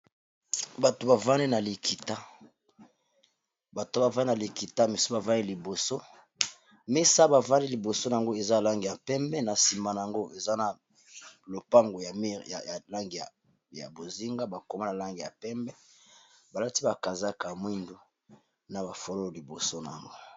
bato bavani na likita mesa bavani liboso mesa bavanli liboso yango eza lange ya mpembe na nsima na yango eza na lopango ya mire langi ya bozinga bakoma na lange ya mpembe balati bakazaka mwindu na bafololo liboso na yango